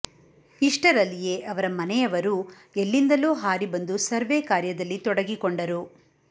ಇಷ್ಟರಲ್ಲಿಯೇ ಅವರ ಮನೆಯವರೂ ಎಲ್ಲಿಂದಲೋ ಹಾರಿ ಬಂದು ಸರ್ವೇ ಕಾರ್ಯದಲ್ಲಿ ತೊಡಗಿಕೊಂಡರು